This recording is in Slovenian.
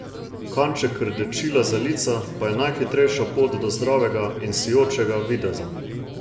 Kanček rdečila za lica pa je najhitrejša pot do zdravega in sijočega videza.